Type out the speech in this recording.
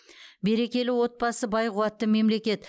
берекелі отбасы бай қуатты мемлекет